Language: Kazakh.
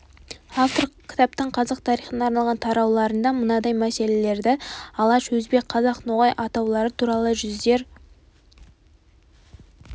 автор кітаптың қазақ тарихына арналған тарауларында мынадай мәселелерді алаш өзбек қазақ ноғай атаулары туралы жүздер